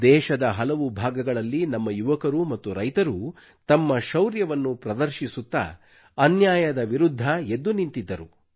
ದೇಶದ ಹಲವು ಭಾಗಗಳಲ್ಲಿ ನಮ್ಮ ಯುವಕರು ಮತ್ತು ರೈತರು ತಮ್ಮ ಶೌರ್ಯವನ್ನು ಪ್ರದರ್ಶಿಸುತ್ತಾ ಅನ್ಯಾಯದ ವಿರುದ್ಧ ಎದ್ದು ನಿಂತಿದ್ದರು